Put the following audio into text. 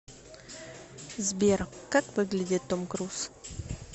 сбер как выглядит том круз